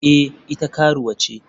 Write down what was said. Eh ita karuwa ce.